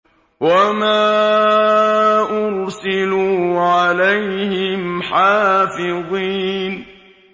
وَمَا أُرْسِلُوا عَلَيْهِمْ حَافِظِينَ